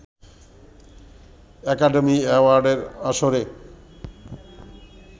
academy অ্যাওয়ার্ডের আসরে